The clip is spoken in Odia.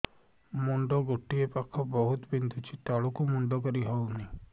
ମୁଣ୍ଡ ଗୋଟିଏ ପାଖ ବହୁତୁ ବିନ୍ଧୁଛି ତଳକୁ ମୁଣ୍ଡ କରି ହଉନି